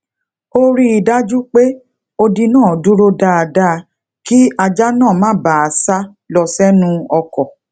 ó rí i dájú pé odi náà dúró dáadáa kí ajá náà má bàa sá lọ senu ọkò